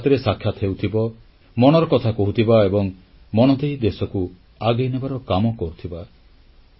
ମନ କି ବାତ୍ରେ ସାକ୍ଷାତ ହେଉଥିବ ମନର କଥା କହୁଥିବା ଏବଂ ମନ ଦେଇ ଦେଶକୁ ଆଗେଇନେବାର କାମ କରୁଥିବା